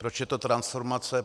Proč je to transformace?